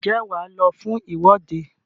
ǹjẹ́ wà á lọ fún ìwọ́de?